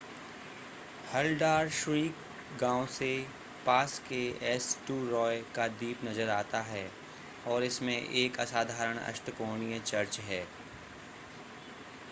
Haldarsvik गांव से पास के एस्टूरॉय का द्वीप नज़र आता है और इसमें एक असाधारण अष्टकोणीय चर्च है